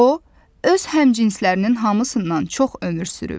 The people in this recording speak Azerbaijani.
O öz həmcinslərinin hamısından çox ömür sürüb.